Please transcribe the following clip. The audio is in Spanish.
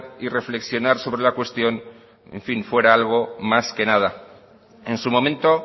y reflexionar sobre la cuestión en fin fuera algo más que nada en su momento